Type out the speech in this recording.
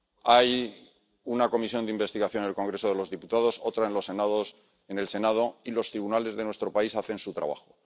Hay una comisión de investigación en el Congreso de los Diputados, otra en el Senado y los tribunales de nuestro país hacen su trabajo.